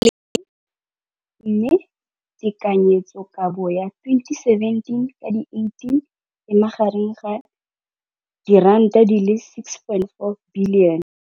Infleišene, mme tekanyetsokabo ya 2017, 18, e magareng ga R6.4 bilione.